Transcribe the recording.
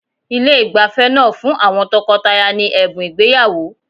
Ilé ìgbafẹ́ náà fún àwọn tọkọtaya ní ẹ̀bùn ìgbéyàwó.